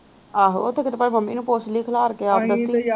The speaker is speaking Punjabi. ਆਹੋ ਉੱਥੇ ਕੀਤੇ ਪਵੇ ਮੰਮੀ ਨੂੰ ਪੁੱਛਲੀ ਖਿਲਾਰ ਕ ਆਪ ਦਸੁ ਗੀ।